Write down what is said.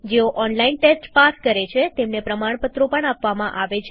જેઓ online test pass કરે છે તેમને પ્રમાણપત્રો પણ આપીએ છીએ